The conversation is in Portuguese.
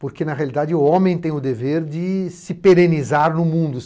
Porque, na realidade, o homem tem o dever de se perenizar no mundo.